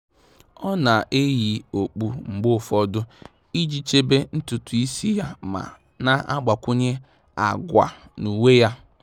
Há nà-edèbè akpụkpọ́ụkwụ́ ndabere nà-árụ́ ọ́rụ́ màkà mgbanwe ụ́dị́ ngwa ngwa mgbe atụ́matụ gbanwere nà-átụ́ghị́ ányá yá.